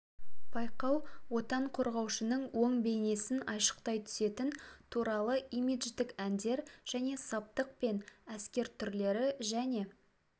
байқау отан қорғаушының оң бейнесін айшықтай түсетін туралы имидждік әндер және саптық пен әскер түрлері және